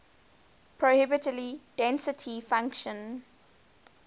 probability density function